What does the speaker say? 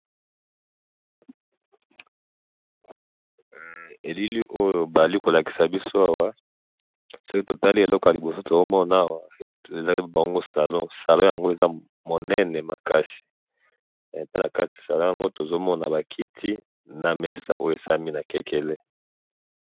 ilili oyo ba lingi to lakisa biso awa soki to tali na liboso to zali ko mona awa ezali bango salon salon yango eza monene makasi epayi na kati tozo mona ba kiti na mesa oyo esalima na kekele